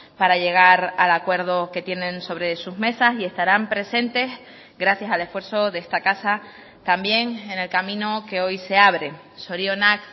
para llegar al acuerdo que tienen sobre sus mesas y estarán presentes gracias al esfuerzo de esta casa también en el camino que hoy se abre zorionak